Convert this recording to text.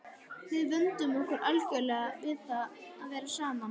Við vönduðum okkur algjörlega við það að vera saman.